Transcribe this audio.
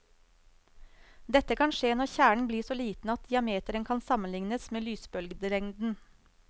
Dette kan skje når kjernen blir så liten at diameteren kan sammenliknes med lysbølgelengden.